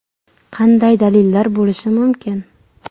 Qanday dalillar bo‘lishi mumkin?